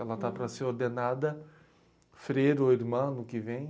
Ela está para ser ordenada freiro ou irmã ano que vem